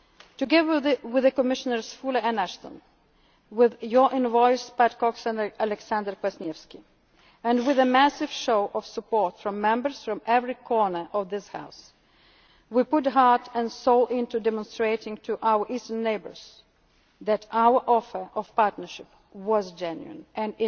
be the same again. Together with Commissioners Füle and Ashton, with your envoys, Pat Cox and Aleksander Kwaśniewski, and with a massive show of support from Members from every corner of this House, we put heart and soul into demonstrating to our Eastern neighbours that our offer of partnership